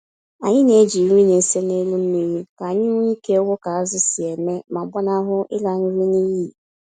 Anyị na-eji nri na-ese n'elu mmiri ka anyị nwee ike ịhụ ka azụ̀ si eme ma gbanahụ ịla nri n'iyi.